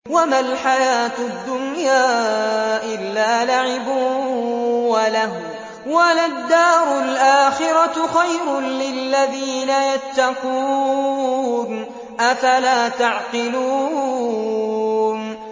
وَمَا الْحَيَاةُ الدُّنْيَا إِلَّا لَعِبٌ وَلَهْوٌ ۖ وَلَلدَّارُ الْآخِرَةُ خَيْرٌ لِّلَّذِينَ يَتَّقُونَ ۗ أَفَلَا تَعْقِلُونَ